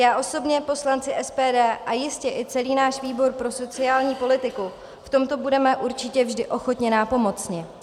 Já osobně, poslanci SPD a jistě i celý náš výbor pro sociální politiku v tomto budeme určitě vždy ochotně nápomocni.